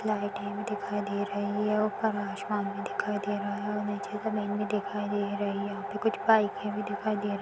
लाइटे दिखाई दे रही हैं ऊपर आसमान भी दिखाई दे रहा हैं और नीचे जमीन भी दिखाई दे रही है यहाँ पे कुछ बाइके भी दिखाई दे रही --